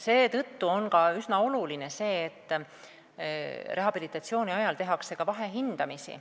Seetõttu on üsna oluline, et rehabilitatsiooni ajal tehtaks vahehindamisi.